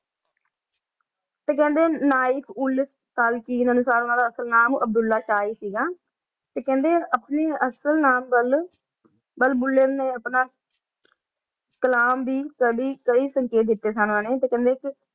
ਤੇ ਕਹਿੰਦੇ ਆਏ ਉੰਨਾਂ ਦਾ ਅਸਲ ਨਾਂ ਬੁੱਲੇ ਸ਼ਾਹ ਹੈ ਸੀ ਤੇ ਕਹਿੰਦੇ ਆਏ ਕ ਆਪਣੇ ਅਸਲ ਨਾਂ ਨਾਲ ਬੁੱਲੇ ਨੂੰ ਆਪਣਾ ਕਲਾਮ ਦਾ ਕੇ ਸੰਕਾ ਦਿਤੀ ਉਨਾਂ ਨੇ ਤੇ ਕਹਿੰਦੇ